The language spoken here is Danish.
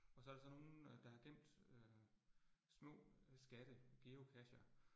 Og så der så nogen, øh der har gemt øh små øh skatte, Geocacher